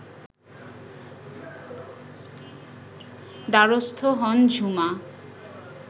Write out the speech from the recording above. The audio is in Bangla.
দ্বারস্থ হন ঝুমা